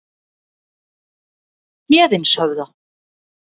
Héðinshöfða